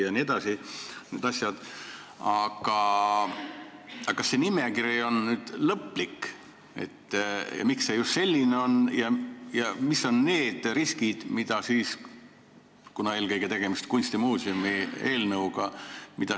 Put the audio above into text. Kuna eelkõige on tegemist kunstimuuseumi eelnõuga, siis küsin, kas see nimekiri on lõplik, miks see just selline on ja millised on need riskid, mida siis tegelikult korvatakse.